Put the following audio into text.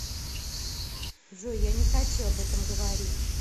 джой я не хочу об этом говорить